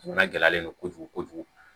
Jamana gɛlɛyalen don kojugu kojugu